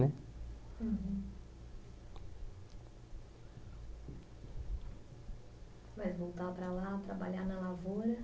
Mas voltar para lá, trabalhar na lavoura,